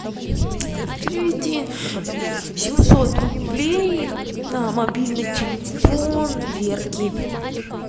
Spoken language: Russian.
переведи семьсот рублей на мобильный телефон верки